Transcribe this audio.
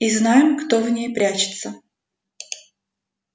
и знаем кто в ней прячется